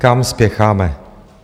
Kam spěcháme?